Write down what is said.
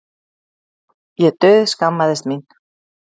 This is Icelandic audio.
Ég dauðskammaðist mín.